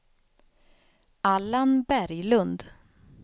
Allan Berglund